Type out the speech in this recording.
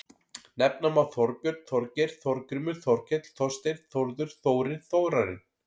Nefna má Þorbjörn, Þorgeir, Þorgrímur, Þorkell, Þorsteinn, Þórður, Þórir, Þórarinn.